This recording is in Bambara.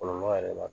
Kɔlɔlɔ yɛrɛ b'a dɔn